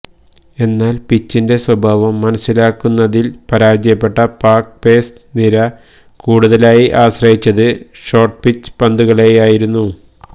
എന്നാല് പിച്ചിന്റെ സ്വഭാവം മനസിലാക്കുന്നതില് പരാജയപ്പെട്ട പാക് പേസ് നിര കൂടുതലായി ആശ്രയിച്ചത് ഷോര്ട്ട് പിച്ച് പന്തുകളെയായിരുന്നു